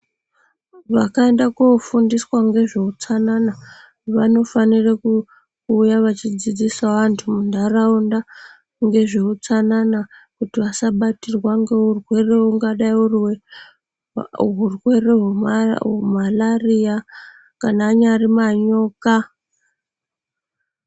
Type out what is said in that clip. Vakaenda kofundiswa ngezveutsanana ,vanofanire kuuya vachidzidzisawo vantu muntaraunda ngezveutsanana kuti vasabatirwa ngeurwere hungadai huri marariya kana anyari manyoka.